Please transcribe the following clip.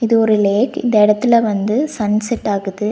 இது ஒரு லேக் இந்த எடத்துல வந்து சன்செட் ஆகுது.